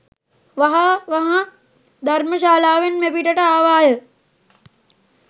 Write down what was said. වහ වහා ධර්ම ශාලාවෙන් මෙපිටට ආවාය